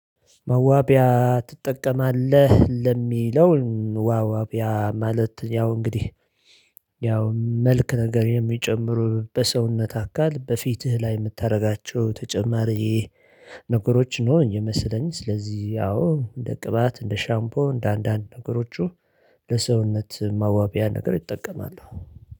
መዋቢያ ትጠቀማለህ ለሚለው? ዋው አቢያ ማለት ያው እንግዲህ ያው መልክ ነገር የሚጨምሩ በሰውነት አካል በፊትህ ላይ የምታደርጋቸው ተጨማሪ ነገሮች ነው የሚመስለኝ። ስለዚህ ያው እንደ ቅባት እንደ ሻምፖ እንደ አንዳንድ ነገሮቹ ለሰውነት ማዋቢያ ነገር እጠቀማለሁ